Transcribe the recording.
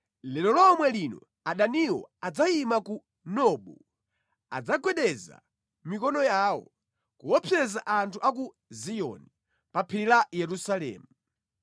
Lero lomwe lino adaniwo adzayima ku Nobu; adzagwedeza mikono yawo, kuopseza anthu a ku Ziyoni, pa phiri la Yerusalemu.